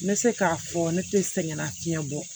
N bɛ se k'a fɔ ne tɛ sɛgɛnna fiɲɛ bɔ